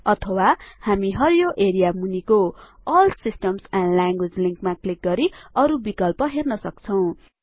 अथवा हामी हरियो एरिया मुनिको एल सिस्टम्स एन्ड ल्याङ्ग्वेजेस लिन्कमा क्लिक गरी अरु विकल्प हेर्न सक्छौं